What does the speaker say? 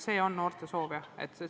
See on noorte soov.